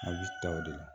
A bɛ ta o de la